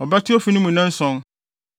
ɔbɛto ofi no mu nnanson